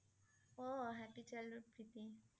অ' Happy Child ৰ প্ৰীতি